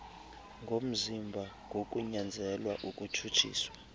ngomzimba ngokunyanzelwa ukutshutshiswa